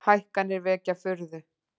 Hækkanir vekja furðu